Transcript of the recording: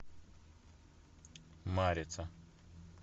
марица